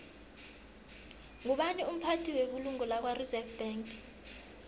ngubani umphathi webulungo lakwareserve bank